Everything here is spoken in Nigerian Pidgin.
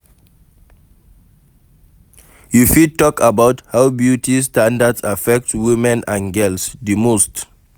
You fit talk about how beauty standards affect women and girls, di most.